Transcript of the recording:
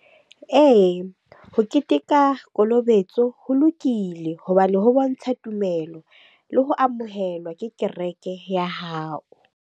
Ee, ho keteka kolobetso ho lokile hobane ho bontsha tumelo le ho amohelwa ke kereke ya hao.